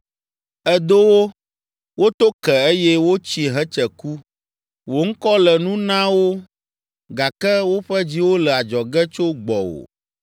Èdo wo, woto ke eye wotsi hetse ku. Wò ŋkɔ le nu na wo gake woƒe dziwo le adzɔge tso gbɔwò.